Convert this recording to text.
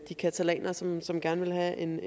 de catalanerne som som gerne vil have en